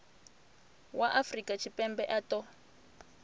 wa afrika tshipembe a ṱo